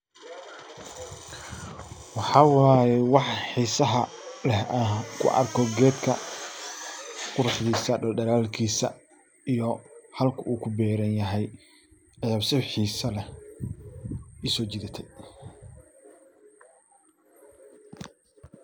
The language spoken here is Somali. Waxaa waye waxa xiisaha leh aan ku arko geedka quruxdiisa dhadhalaalkiisa iyo halka u ku beeranyahay aya si xiisa leh ii soojidate.